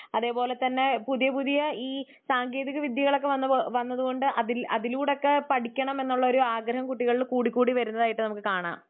അതുപോലെതന്നെ പുതിയ പുതിയ ഈ സാങ്കേതിക വിദ്ത്യയകളൊക്കെ വന്നതുകൊണ്ട് അതില് അതിലൂടൊക്കെ പഠിക്കണമെന്നുള്ള ഒരു ആഗ്രഹം കുട്ടികൾക്ക് കൂടി കൂടി വരുന്നതായിട്ട് നമുക്ക് കാണാം.